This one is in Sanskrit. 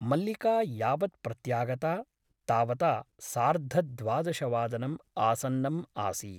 मल्लिका यावत् प्रत्यागता तावता सार्धद्वादशवादनम् आसन्नम् आसीत् ।